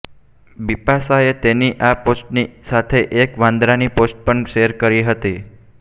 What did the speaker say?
બિપાશાએ તેની આ પોસ્ટની સાથે એક વાંદરાની પોસ્ટ પણ શેર કરી હતી